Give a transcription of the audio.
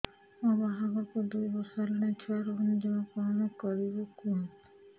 ମୋ ବାହାଘରକୁ ଦୁଇ ବର୍ଷ ହେଲାଣି ଛୁଆ ରହୁନି ଜମା କଣ କରିବୁ କୁହନ୍ତୁ